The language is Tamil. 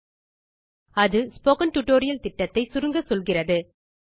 httpspoken tutorialorgWhat is a Spoken Tutorial அது ஸ்போக்கன் டியூட்டோரியல் திட்டத்தை சுருங்கச்சொல்கிறது